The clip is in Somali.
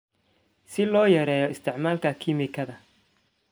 si loo yareeyo isticmaalka kiimikada.